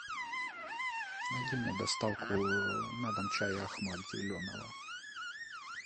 найди мне доставку на дом чая ахмад зеленого